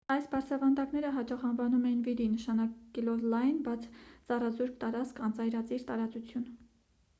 այս բարձրավանդակները հաճախ անվանում էին վիդի նշանակելով լայն բաց ծառազուրկ տարածք անծայրածիր տարածություն